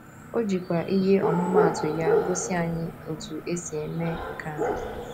O jikwa ihe ọmụmaatụ ya gosi anyị otú e si eme nke a.